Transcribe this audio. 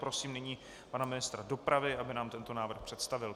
Prosím nyní pana ministra dopravy, aby nám tento návrh představil.